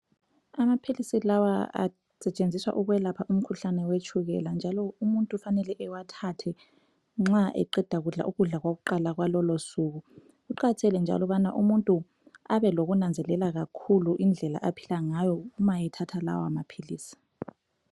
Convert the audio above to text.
Amaphiisi lawa asetshenziswa ukwelapha umkhuhlane we tshukela njalo umuntu kufanele ewathathe nxa eqeda kudla ukudla kwakuqala kwalolosuku, kuqakathekile njalo ukuba umuntu ebe lokunanzelela kakhulu indlela aphila ngayo uma ethatha lawa maphilisi.